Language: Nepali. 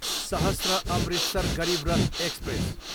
सहश्र, अमृतसर गरिब रथ एक्सप्रेस